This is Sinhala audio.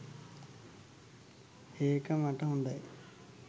ඒක මට හොඳයි.